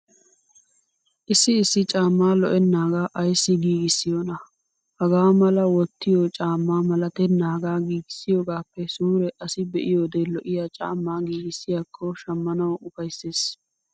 Issi issi caamaa lo'ennaaga ayssi giigissiyoonaa. Hagaa mala wottiyo caamma malatennagaa giigissiyogaappe suure asi be'iyode lo'iya caammaa giigissiyakko shammanawu ufaysses.